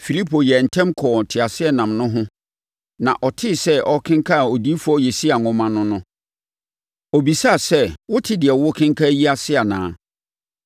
Filipo yɛɛ ntɛm kɔɔ teaseɛnam no ho na ɔtee sɛ ɔrekenkan Odiyifoɔ Yesaia nwoma no no, ɔbisaa sɛ, “Wote deɛ worekenkan yi ase anaa?”